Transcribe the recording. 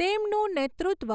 તેમનું નેતૃત્વ,